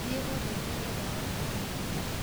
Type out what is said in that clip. Thiĩ ũndehere ndawa cia mwana